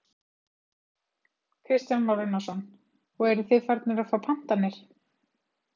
Kristján Már Unnarsson: Og eruð þið farnir að fá pantanir?